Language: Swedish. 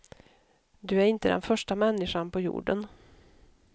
Du är inte den första människan på jorden.